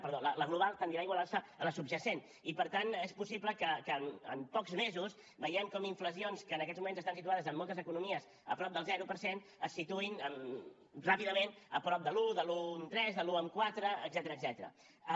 perdó la global tendirà a igualar se a la subjacent i per tant és possible que en pocs mesos vegem com inflacions que en aquests moments estan situades en moltes economies a prop del zero per cent es situïn ràpidament a prop de l’un de l’un coma tres de l’un coma quatre etcètera